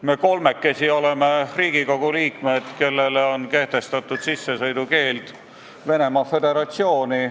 Meie kolmekesi oleme Riigikogu liikmed, kellele on kehtestatud sissesõidukeeld Venemaa Föderatsiooni.